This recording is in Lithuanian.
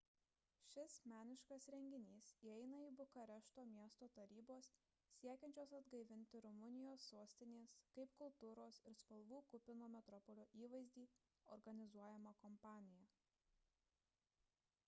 šis meniškas renginys įeina į bukarešto miesto tarybos siekiančios atgaivinti rumunijos sostinės kaip kultūros ir spalvų kupino metropolio įvaizdį organizuojamą kampaniją